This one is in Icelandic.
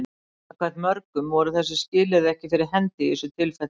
samkvæmt mörgum voru þessi skilyrði ekki fyrir hendi í þessu tilfelli